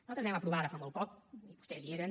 nosaltres vam aprovar ara fa molt poc i vostès hi eren